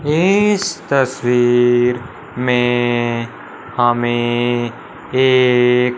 इस तस्वीर में हमें एक--